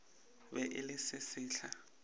be e le se sesehla